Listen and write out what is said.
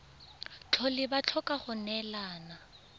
tlhole ba tlhoka go neelana